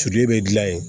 Sulen bɛ dilan yen